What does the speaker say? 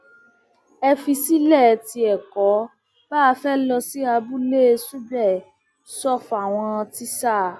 ẹ fiṣẹ sílẹ tí ẹ kò bá fẹẹ lọ sí abúlé subeh sọ fáwọn tíṣà